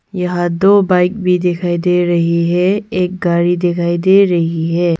यह दो बाइक भी दिखाई दे रही है एक गाड़ी दिखाई दे रही है।